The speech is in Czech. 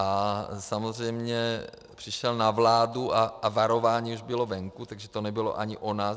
A samozřejmě přišel na vládu a varování už bylo venku, takže to nebylo ani o nás.